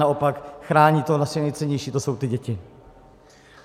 Naopak, chrání to naše nejcennější - to jsou ty děti.